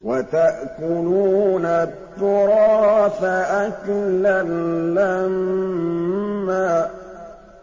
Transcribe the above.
وَتَأْكُلُونَ التُّرَاثَ أَكْلًا لَّمًّا